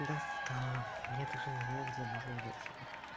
достала я даже не знаю где можно взять его